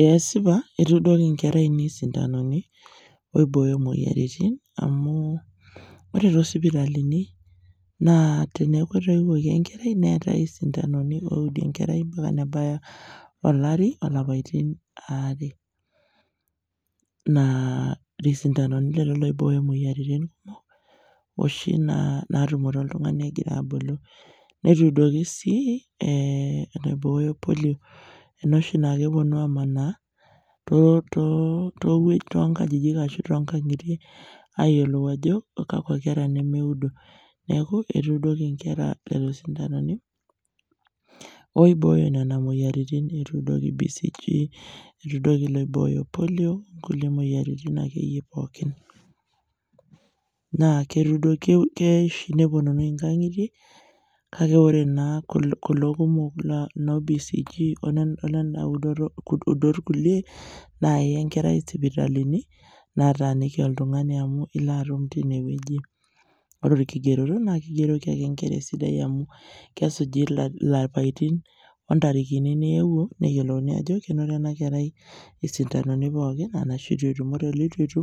eeh esipa etuudoki nkera ainei sindanoni oibooyo moyiaritin amu ore to sipitalini naa teneeku etoiwuoki enkerai neetae isintanoni oudi enkerai mpaka nebaya olari o lapaitin aare naa isindanoni lelo loibooyo moyiaritin kumok oshi naatumore oltung'ani egira abulu, netuudoki sii eeh enaibooyo polio ena oshi naa kepuonu aamanaa to towue tonkajijik ashu tonkang'itie ayiolou ajo kakua kera nemeudo, neeku etuudoki nkera lelo sindanoni oibooyo nena moyiaritin , etuudoki bcg etuudoki ilo oibooyo polio o kulie moyiaritin ake yie pookin, naa ketudo keya oshi nepuonunui nkang'itie, kake ore naa kul kulo kumok noo bcg ole olena udot kulie naa iya enkerai sipitalini nataaniki oltung'ani amu ilo atumu tinewueji ore orkigeroto naa kegeroki ake nkera esidai amu kesuji la lapaitin o ntarikini niewuo neyiolouni ajo kenoto ena kerai sindanoni pookin arashu eitu etum, ore oleitu etu